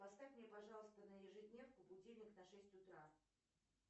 поставь мне пожалуйста на ежедневку будильник на шесть утра